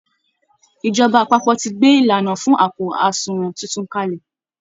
Ìjọba àpapọ̀ ti gbé ìlànà fún àpò àsunwọ̀n tuntun kalẹ̀